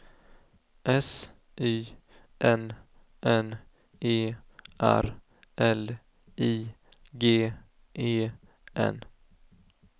S Y N N E R L I G E N